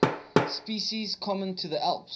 species common to the alps